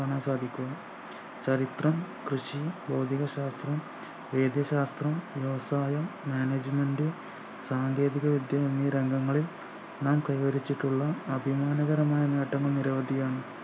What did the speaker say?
കാണാൻ സാധിക്കുന്നു ചരിത്രം കൃഷി ഭൗതിക ശാസ്ത്രം വൈദ്യ ശാസ്ത്രം വ്യവസായം management സാങ്കേതിക വിദ്യ എന്നീ രംഗങ്ങളിൽ നാം കൈവരിച്ചിട്ടുള്ള അഭിമാനകരമായ നേട്ടങ്ങൾ നിരവധിയാണ്